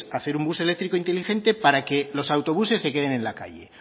hacer un bus eléctrico inteligente para que los autobuses se queden en la calle